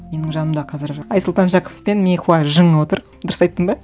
менің жанымда қазір айсұлтан жақыпов пен мейхуа жы отыр дұрыс айттым ба